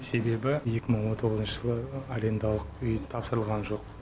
себебі екі мың он тоғызыншы жылы арендалық үй тапсырылған жоқ